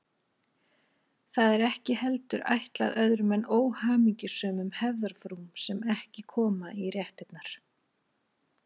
Það er ekki heldur ætlað öðrum en óhamingjusömum hefðarfrúm sem ekki koma í réttirnar.